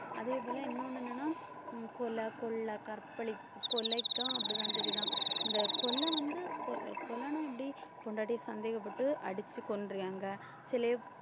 அதே போல இன்னொன்னு என்னன்னா கொலை, கொள்ளை, கற்பழிப்பு கொலைக்கும் அப்படிதான் சரிதான் இந்த கொலை வந்து கொ~ கொலைன்னா எப்படி பொண்டாட்டியை சந்தேகப்பட்டு அடிச்சு